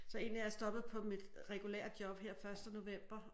Så egentlig er jeg stoppet på mit regulære job her første november